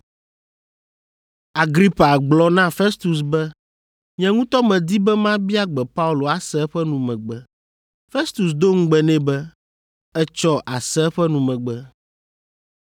Agripa gblɔ na Festus be, “Nye ŋutɔ medi be mabia gbe Paulo ase eƒe numegbe.” Festus do ŋugbe nɛ be, “Etsɔ àse eƒe numegbe.”